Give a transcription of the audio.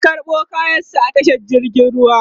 ya karɓo kayan sa a tashar jirgin ruwa